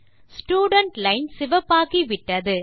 student line சிவப்பாகிவிட்டது